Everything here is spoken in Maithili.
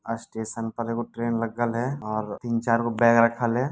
अ स्टेशन पर एक ट्रेन लगल हेय और तीन चार गो बैग रखल है।